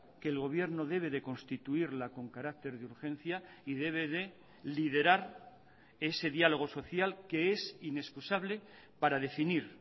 que el gobierno debe de constituirla con carácter de urgencia y debe de liderar ese diálogo social que es inexcusable para definir